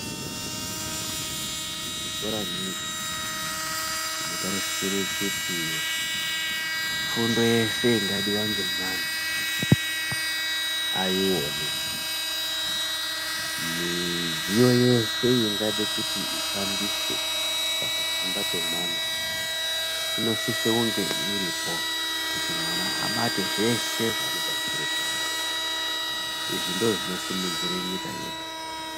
Muzvikora mwedu tinotarisire kuti fundo yeshe ingadiwa nemwana aione, midziyo yeshe ingade kuti ishandiswe pakufunda kwemwana inosise kunge iripo kuti mwana abate zveshe zvaanotarisire kubata. Izvi ndozvinosimudzire nyika yedu.